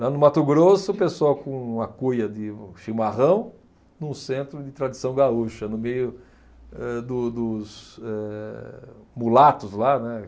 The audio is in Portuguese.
Lá no Mato Grosso, o pessoal com uma cuia de chimarrão, num centro de tradição gaúcha, no meio eh, do, dos, eh mulatos lá, né?